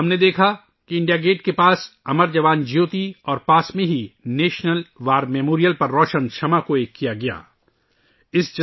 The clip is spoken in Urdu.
ہم نے دیکھا کہ انڈیا گیٹ کے قریب 'امر جوان جیوتی ' اور اس کے قریب ہی ' نیشنل وار میموریل ' قومی جنگی یادگار پر جلنے والی جیوتی کو آپس میں ضم کیاگیا